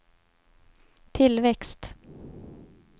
tillväxt